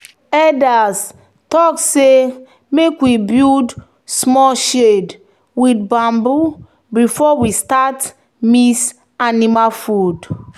"elders talk say make we build small shade with bamboo before we start mix animal food."